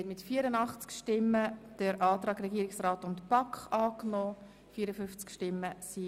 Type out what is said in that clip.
Somit kommen wir zu den Änderungen von Artikel 42.